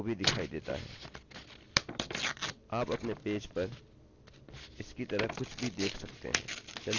यह यूजर को भी दिखाई देता है आप अपने पेज पर इस की तरह कुछ भी देख सकते हैं